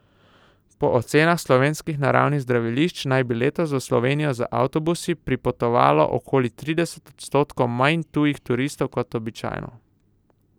Po ocenah slovenskih naravnih zdravilišč naj bi letos v Slovenijo z avtobusi pripotovalo okoli trideset odstotkov manj tujih turistov kot običajno.